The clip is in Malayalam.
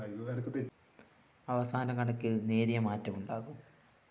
അവസാന കണക്കില്‍ നേരിയ മാറ്റമുണ്ടാകും